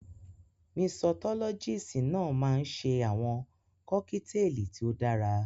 Misọ́lọ́gíìsì náà máa ń ṣe àwọn kọ́kíteèlì tí ó dára.